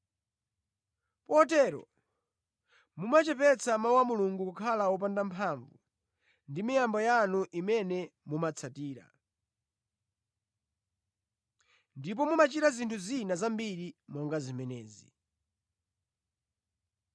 Potero mumachepetsa mawu a Mulungu kukhala wopanda mphamvu ndi miyambo yanu imene mumapatsirana. Ndipo mumachita zinthu zina zambiri monga zimenezi.”